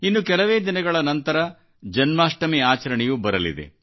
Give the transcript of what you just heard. ಇನ್ನು ಕೆಲವೇ ದಿನಗಳ ನಂತರ ಜನ್ಮಾಷ್ಟಮಿ ಆಚರಣೆಯೂ ಬರಲಿದೆ